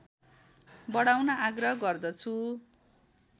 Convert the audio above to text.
बढाउन आग्रह गर्दछु